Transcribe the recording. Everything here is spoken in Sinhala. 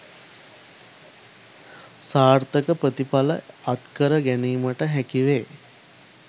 සාර්ථක ප්‍රතිඵල අත්කර ගැනීමට හැකි වේ